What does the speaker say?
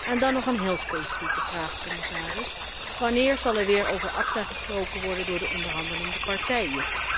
En dan nog een heel specifieke vraag, commissaris wanneer zal er weer over ACTA gesproken worden door de onderhandelende partijen?